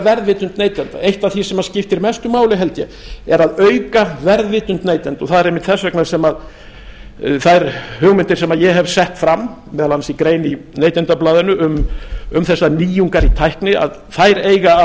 verðvitund neytenda eitt af því sem skiptir mestu máli held ég er að auka verðvitund neytenda og það er einmitt þess vegna sem þær hugmyndir sem ég hef sett fram meðal annars í grein í neytendablaðinu um þessar nýjungar í tækni þær eiga